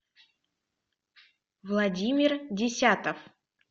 владимир десятов